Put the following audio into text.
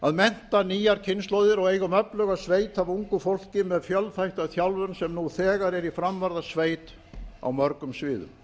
að mennta nýjar kynslóðir og eigum öfluga sveit af ungu fólki með fjölþætta þjálfun sem nú þegar er í framvarðarsveit á mörgum sviðum